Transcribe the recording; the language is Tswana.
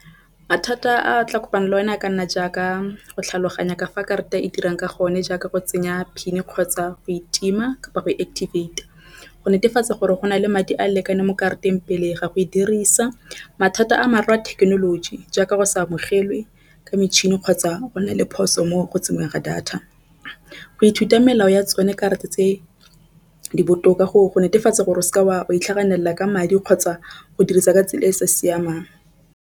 Mathata a tla kopana le o na a ka nna jaaka go tlhaloganya kafa karata e dirang ka gonne, jaaka go tsenya PIN kgotsa go e tima kapa go activate-a go netefatsa gore go na le madi a lekane mo karateng. Pele ga go e dirisa mathata a mara a thekenoloji jaaka go se amogelwe ke metšhini kgotsa go nna le phoso mo go tseyeng ga data go ithuta melao ya tsone karata tse di botoka go go netefatsa gore o se ke wa go itlhaganela ka madi kgotsa go dirisa ka tsela e e sa siamang.